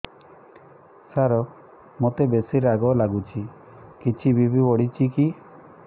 ସାର ମୋତେ ବେସି ରାଗ ଲାଗୁଚି କିଛି ବି.ପି ବଢ଼ିଚି କି